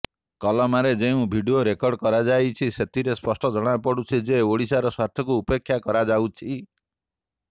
କଲମାରେ ଯେଉଁ video record କରାଯାଇଛି ସେଥିରୁ ସ୍ପଷ୍ଟ ଜଣାପଡ଼ୁଛି ଯେ ଓଡ଼ିଶାର ସ୍ୱାର୍ଥକୁ ଉପେକ୍ଷା କରାଯାଉଛି